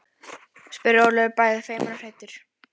spurði Ólafur bæði feiminn og hræddur.